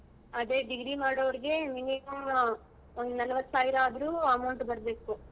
ಅದೇ degree ಮಾಡೋರ್ಗೆ minimum ಒಂದ್ ನಲವತ್ತೈದ್ ಸಾವಿರ ಆದ್ರೂ amount ಬರ್ಬೇಕು.